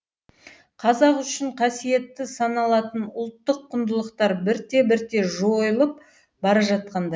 қазақ үшін қасиетті саналатын ұлттық құндылықтар бірте бірте жойылып бара жатқандай